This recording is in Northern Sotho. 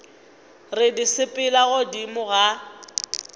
re di sepela godimo ga